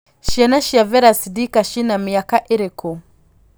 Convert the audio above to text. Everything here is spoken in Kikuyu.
ciana cia vera sidika cĩna mĩaka ĩrikũ